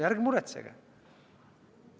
Ärge muretsege!